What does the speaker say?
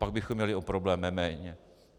Pak bychom měli o problém méně.